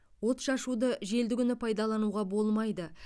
отшашуды желді күні пайдалануға болмайды